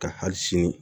Ka hali sini